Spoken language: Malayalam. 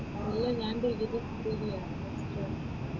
ഇല്ല ഞാൻ ഡിഗ്രി ചെയ്തില്ല